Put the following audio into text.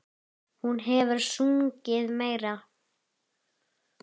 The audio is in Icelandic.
Hún hefur sungið meira.